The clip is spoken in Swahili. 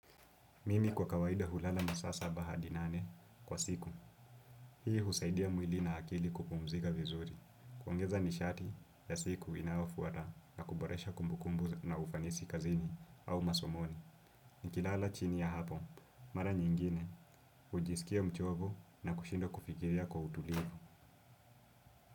Mimi kwa kawaida hulala masaa saba hadi nane kwa siku. Hii husaidia mwili na akili kupumzika vizuri. Kuongeza nishati ya siku inayofuata na kuboresha kumbukumbu na ufanisi kazini au masomoni. Nikilala chini ya hapo. Mara nyingine, hujisikia mchovu na kushinda kufikiria kwa utulivu.